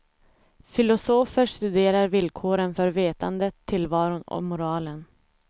Filosofer studerar villkoren för vetandet, tillvaron och moralen.